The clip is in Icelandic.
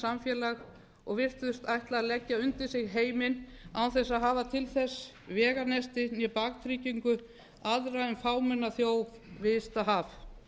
samfélag og virtust ætla að leggja undir sig heiminn án þess að hafa til þess veganesti né baktryggingu aðra en fámenna þjóð við ysta haf